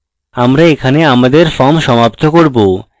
আমরা এখানে আমাদের form সমাপ্ত করব